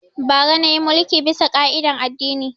Bara na yi mulki bisa ƙa'idan addini